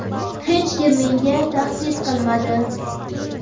hech kim menga tahdid qilmadi.